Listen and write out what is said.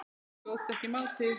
Ég stóðst ekki mátið